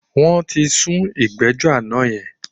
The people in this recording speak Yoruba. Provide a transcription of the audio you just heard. Wọ́n ti sún ìgbẹ́jọ́ àná yẹn.